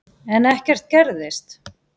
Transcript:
En ekkert gerðist.